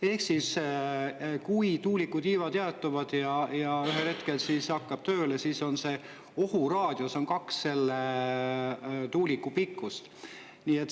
Ehk siis kui tuuliku tiivad jäätuvad ja ühel hetkel tööle, siis ohuraadius on kaks tuuliku pikkust.